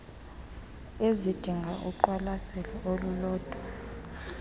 ezidinga uqwalaselo olulodwa